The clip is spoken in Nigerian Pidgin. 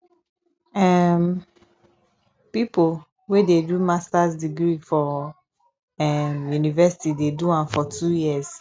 um pipo wey dey do masters degree for um university dey do am for two years